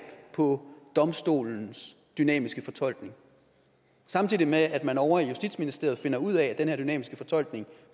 på domstolens dynamiske fortolkning samtidig med at man ovre i justitsministeriet finder ud af at den her dynamiske fortolkning